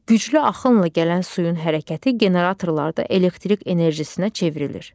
Güclü axınla gələn suyun hərəkəti generatorlarda elektrik enerjisinə çevrilir.